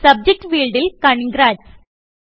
subject ഫീൾഡിൽ congrats